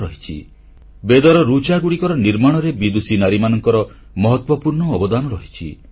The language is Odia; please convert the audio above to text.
ବେଦର ଋକ୍ ଅର୍ଥାତ ବୈଦିକ ମନ୍ତ୍ରଗୁଡ଼ିକର ଗଢଣConstruction ଓଏଫ୍ SentencesShlokasରେ ବିଦୁଷୀ ନାରୀମାନଙ୍କର ମହତ୍ୱପୂର୍ଣ୍ଣ ଅବଦାନ ରହିଛି